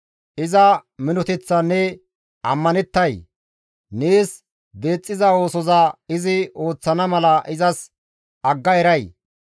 Iza minoteththan ne ammanettay? Nees deexxiza oosoza izi ooththana mala izas agga eray?